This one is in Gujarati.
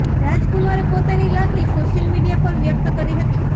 રાજકુમારે પોતાની લાગણી સોશિયલ મીડિયા પર વ્યક્ત કરી હતી